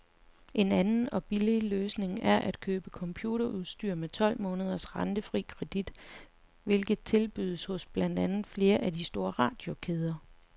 En anden og billig løsning er at købe computerudstyr med tolv måneders rentefri kredit, hvilket tilbydes hos blandt andet flere af de store radiokæder.